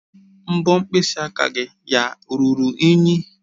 Mbọ mkpịsị aka ya ruru unyi?